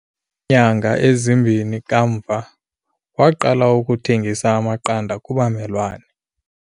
Kwiinyanga ezimbini kamva, waqala ukuthengisa amaqanda kubamelwane.